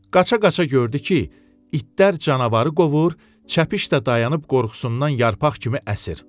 Qaça-qaça gördü ki, itlər canavarı qovur, çəpiş də dayanıb qorxusundan yarpaq kimi əsir.